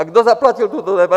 A kdo zaplatil toto DPH?